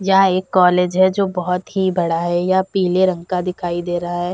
यह एक कॉलेज है जो बहोत ही बड़ा है। यह पीले रंग का दिखाई दे रहा है।